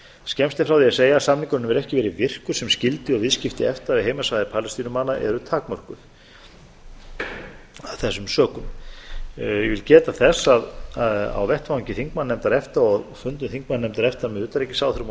skemmst er frá því að segja að samningurinn hefur ekki verið virkur sem skyldi og viðskipti efta á heimasvæði palestínumanna eru takmörkuð af þessum sökum ég vil geta þess að á vettvangi þingmannanefndar efta og fundi þingmannanefndar efta með utanríkisráðherrum og